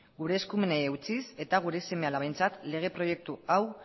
gure eskumenei eutsiz eta gure seme alabentzat lege proiektu hau